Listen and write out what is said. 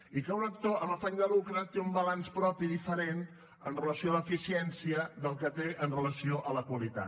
i que un actor amb afany de lucre té un balanç propi diferent amb relació a l’eficiència del que té amb relació a la qualitat